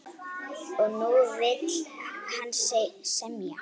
Og nú vill hann semja!